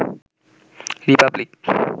Republic